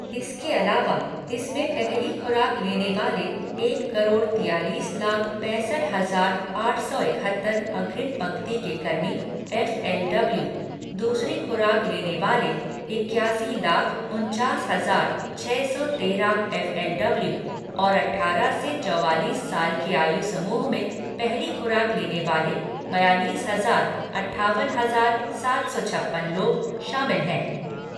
इसके अलावा, इस में पहली खुराक लेने वाले एक करोड़ तियालीस लाख पैंसठ हजार आट सौ इक्हत्तर अग्रिम पंक्ति के कर्मी एफएलडब्ल्यू, दूसरी खुराक लेने वाले इक्यासी लाख उनचास हजार छः सौ तेरह एफएलडब्ल्यू और अठारह से चौवालीस साल के आयु समूह में पहली खुराक लेने वाले बयालीस हजार अट्ठावन हजार सात सौ छप्पन लोग शामिल हैं।